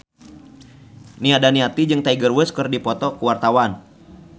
Nia Daniati jeung Tiger Wood keur dipoto ku wartawan